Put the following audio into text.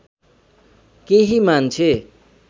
केही मान्छे